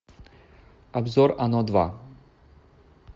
обзор оно два